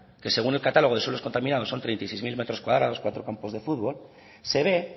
que según el catálogo de suelos contaminados son treinta y seis mil metros cuadrados cuatro campos de fútbol se ve